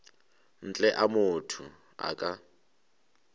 ntle a motho a ka